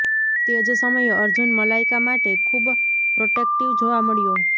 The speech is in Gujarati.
તેજ સમયે અર્જુન મલાઈકા માટે ખૂબ પ્રોટેક્ટીવ જોવા મળ્યો